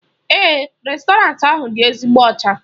Èè, réstọranti ahụ dị ezigbo ọcha.